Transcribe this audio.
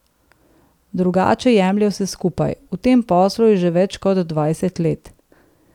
Drugače jemlje vse skupaj, v tem poslu je že več kot dvajset let.